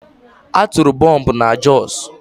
A tụrụ bọmbụ na Jos.